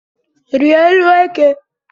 Rịa élú eke